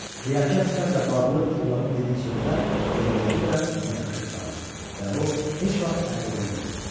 Riyakar sifətlə bağlı oğlanın dediyi sözlər elə beləcə də ona yapışıb qaldı və o heç vaxt ərə gedə bilmədi.